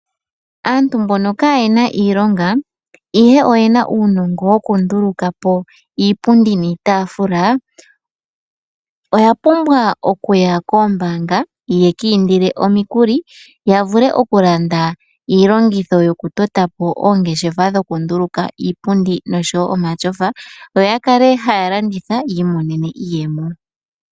Aantu mbono kaa yena iilonga ihe oyena uunongo wokunduluka po iipundi niitaafula, oya pumbwa okuya koombanga ya ka indile omikuli ya vule okulanda iilongitho yokutota po oongeshefa dhokunduluka iipundi noshowo omashofa. Yo ta kale haya landitha ya imonene mo iiyemo.